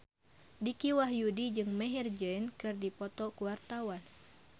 Dicky Wahyudi jeung Maher Zein keur dipoto ku wartawan